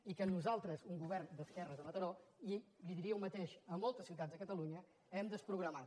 i que nosaltres un go·vern d’esquerres a mataró i li diria el mateix de mol·tes ciutats de catalunya hem desprogramat